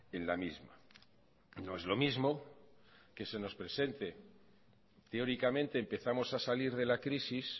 en la misma no es lo mismo que se nos presente teóricamente empezamos a salir de la crisis